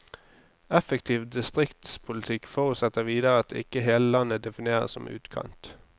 Effektiv distriktspolitikk forutsetter videre at ikke hele landet defineres som utkant.